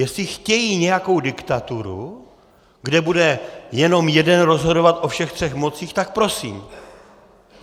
Jestli chtějí nějakou diktaturu, kde bude jenom jeden rozhodovat o všech třech mocích, tak prosím.